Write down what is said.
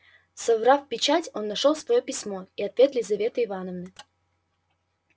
соврав печать он нашёл своё письмо и ответ лизаветы ивановны